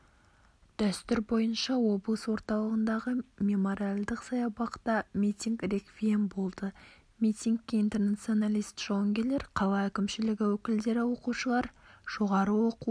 дәстүр бойынша облыс орталығындағы мемориалдық саябақта митинг-реквием болды митингке интернационалист-жауынгерлер қала әкімшілігі өкілдері оқушылар жоғары оқу